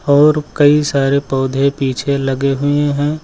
और कई सारे पौधे पीछे लगे हुए हैं।